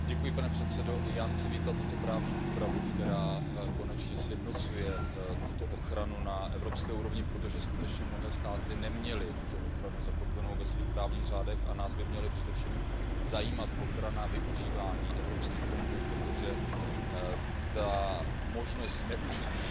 Pane předsedající, i já chci vítat tuto právní úpravu, která konečně sjednocuje tuto ochranu na evropské úrovni, protože skutečně mnohé státy neměly tuto ochranu zakotvenou ve svých právních řádech, a nás by měla především zajímat ochrana využívání evropských fondů, protože možnost zneužití,